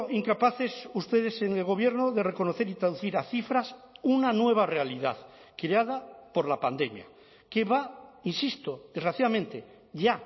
incapaces ustedes en el gobierno de reconocer y traducir a cifras una nueva realidad creada por la pandemia que va insisto desgraciadamente ya